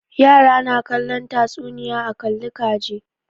Yara na kallon tatsuniya a kalli ka ji.